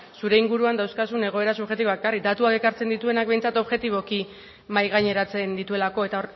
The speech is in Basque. zure inguruan dauzkazun egoera subjektiboak ekarri datuak ekartzen dituenak behintzat objektiboko mahai gaineratzen dituelako eta